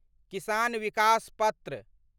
किसान विकास पत्र